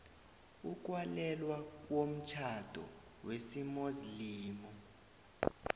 ukwalelwa komtjhado wesimuslimu